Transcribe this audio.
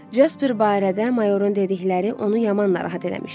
Jasper barədə mayorun dedikləri onu yaman narahat eləmişdi.